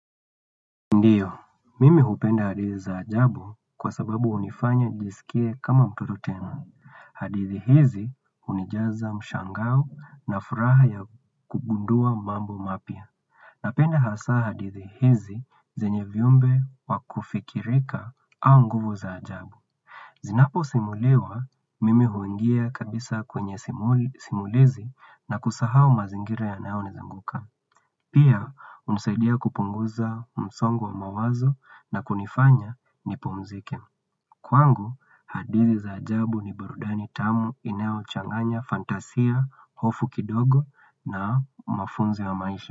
Ndiyo, mimi hupenda hadithi za ajabu kwa sababu hunifanya jisikie kama mtoto tena. Hadithi hizi hunijaza mshangao na furaha ya kugundua mambo mapya. Napenda hasaa hadithi hizi zenye vyumbe wa kufikirika au nguvu za ajabu. Zinaposimuliwa, mimi huingia kabisa kwenye simulizi na kusahau mazingira yanayo nizunguka. Pia, hunisaidia kupunguza msongo wa mawazo na kunifanya nipumzike. Kwangu, hadithi za ajabu ni burudani tamu inayochanganya fantasia, hofu kidogo na mafunzo ya maisha.